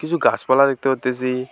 কিছু গাছপালা দেখতে পারতেসি।